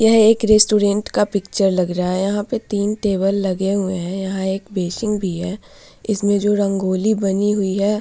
यह एक रेस्टोरेंट का पिक्चर लग रहा है यहां पे तीन टेबल लगे हुए है यहां एक बेसिन भी है इसमें जो रंगोली बनी हुई है --